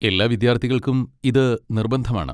എല്ലാ വിദ്യാർത്ഥിക്കൾക്കും ഇത് നിർബന്ധമാണ്.